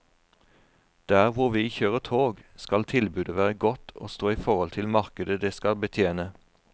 Der hvor vi kjører tog, skal tilbudet være godt og stå i forhold til markedet det skal betjene.